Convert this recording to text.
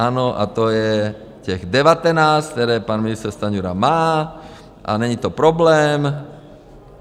Ano, a to je těch 19, které pan ministr Stanjura má a není to problém.